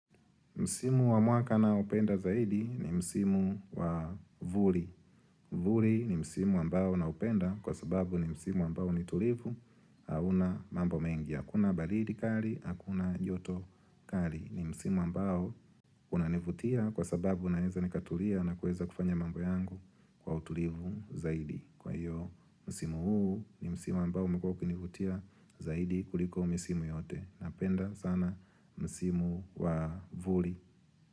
Msimu wa mwaka ninaopenda zaidi ni msimu wa vuli. Vuli ni msimu ambao na upenda kwa sababu ni msimu ambao ni tulivu hauna mambo mengi. Hakuna baridi kali, hakuna joto kali. Ni msimu ambao unanivutia kwa sababu naweza nikatulia na kuweza kufanya mambo yangu kwa utulivu zaidi. Kwa hiyo msimo huu ni msimo ambao umekua kinivutia zaidi kuliko msimo yote. Napenda sana msimo wa vuli.